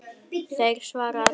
Þeir svara allir í einu.